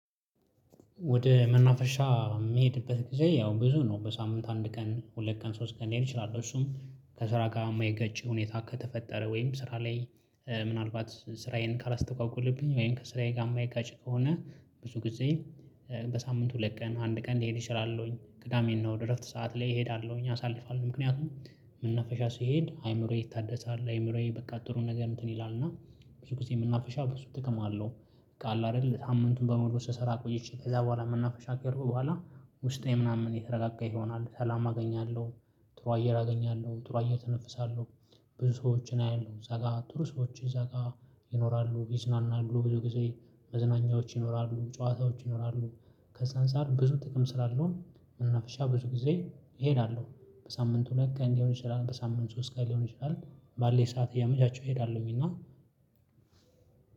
ወደ መናፈሻ የሚሄድበት ጊዜ ያው ብዙ ነው በሳምንት አንድ ቀን ሁለት ቀን ሶስት ቀን ሊሄድ ይችላል። እሱም ከስራ ጋር የማይገጭ ሁኔታ ከተፈጠረ ወይም ስራ ላይ ምናልባት ስራዬን ካላስተጓጎለብኝ ወይም ከስራዬ ጋር የማይጋጭ ከሆነ። ብዙ ጊዜ በሳምንት ሁለት ቀን አንድ ቀን ልሄድ እችላለሁኝ ቅዳሜና እሁድ እረፍት ሰዓት ላይ እሄዳለሁኝ አሳልፋለሁኝ። ምክንያቱም መነፈሻ ሲሄድ አይምሮዬ ይታደሳል አይምሮዬ በቃ ጥሩ ነገር እንትን ይላል እና ብዙ ጊዜ የምናፍሻው ብዙ ጥቅም አለው። ቃአለ አይደል ሳምንቱን በመውሰድ ስራ ቆየች ከዛ በኋላ የምናፍሽ ከሩብ በኋላ ውስጤ ምናምን የተረጋጋ ይሆናል ሰላም አገኛለሁ። ጥሩ አየር አገኛለሁ ጥሩ አየር ተነፍሳለሁ። ብዙ ሰዎችን አያለሁ እዛ ጋር ጥሩ ሰዎችን እዛ ጋር ይኖራሉ ይዝናናሉ ብዙ ጊዜ። መዝናኛዎች ይኖራሉ ጨዋታዎች ይኖራሉ። ከዛ አንፃር ብዙ ጥቅም ስላለውም መናፍሻ ብዙ ጊዜ እሄዳለሁ። በሳምንት ሁለት ቀን ሊሆን ይችላል በሳምንት ሶስት ቀን ሊሆን ይችላል። ባለኝ ሰዓት እያመቻችሁ እሄዳለሁ እና